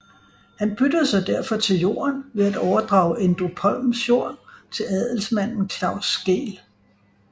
Han byttede sig derfor til jorden ved at overdrage Endrupholms jord til adelsmanden Claus Skeel